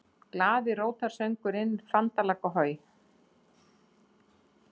GLAÐI GULRÓTARSÖNGURINNFANDALAGGAHOJ